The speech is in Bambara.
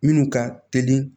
Minnu ka teli